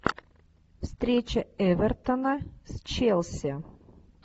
встреча эвертона с челси